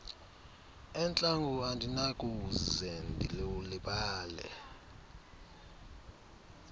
entlango andinakuze ndilulibale